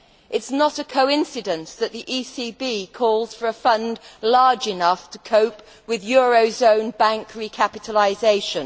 It is not a coincidence that the ECB calls for a fund large enough to cope with euro area bank recapitalisation.